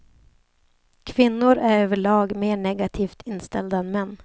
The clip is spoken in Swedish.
Kvinnor är över lag mer negativt inställda än män.